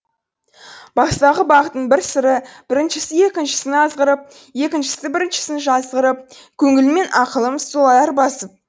бастағы бақтың бір сыры біріншісі екіншісін азғырып екіншісі біріншісін жазғырып көңілім мен ақылым солай арбасып